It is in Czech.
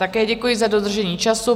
Také děkuji za dodržení času.